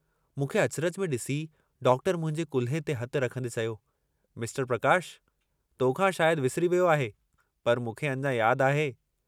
मूंखे अचरज में डिसी डॉक्टर मुंहिंजे कुल्हे ते हथु रखंदे चयो, मिस्टर प्रकाश, तोखां शायद विसरी वियो आहे पर मूंखे अञां याद आहे।